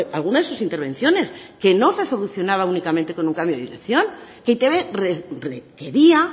alguna de sus intervenciones que no se solucionaba únicamente con un cambio de dirección que e i te be requería